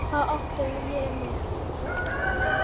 Þá áttaði ég mig.